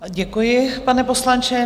Děkuji, pane poslanče.